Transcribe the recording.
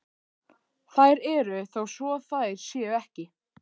Þær eru þó svo þær séu ekki.